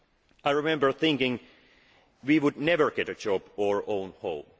myself. I remember thinking we would never get a job or